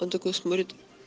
он такой смотрит